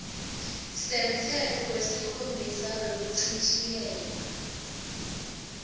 semtsetfo wesikhombisa wekuchitjiyelwa